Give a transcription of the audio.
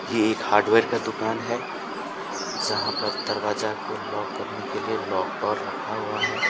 ये एक हार्डवेयर का दुकान है जहाँ पर दरवाजा को लॉक करने के लिए लॉक डोर रखा हुआ है।